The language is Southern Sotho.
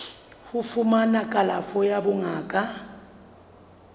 ho fumana kalafo ya bongaka